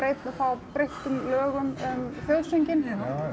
fá breyttum lögum um þjóðsönginn sem